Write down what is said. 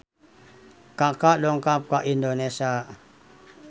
Kaka dongkap ka Indonesia